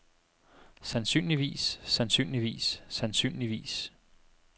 sandsynligvis sandsynligvis sandsynligvis